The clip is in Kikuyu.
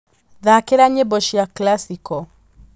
thaakĩra nyĩmbo cia classical